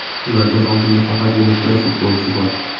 Ulardan oldinda faqatgina bir futbolchi bor.